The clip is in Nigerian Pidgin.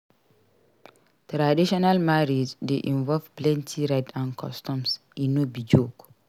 Traditional marriage dey involve plenty rites and customs; e no be joke.